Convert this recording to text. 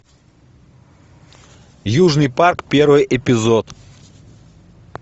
южный парк первый эпизод